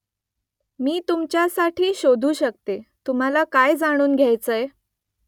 मी तुमच्यासाठी शोधू शकते . तुम्हाला काय जाणून घ्यायचंय ?